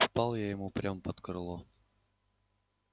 пал я ему прямо под крыло